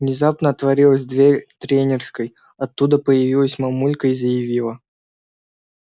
внезапно отворилась дверь тренерской оттуда появилась мамулька и заявила